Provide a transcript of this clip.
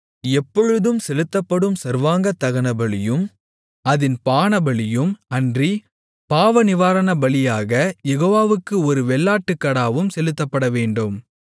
எப்பொழுதும் செலுத்தப்படும் சர்வாங்கதகனபலியும் அதின் பானபலியும் அன்றி பாவநிவாரணபலியாகக் யெகோவாவுக்கு ஒரு வெள்ளாட்டுக்கடாவும் செலுத்தப்படவேண்டும்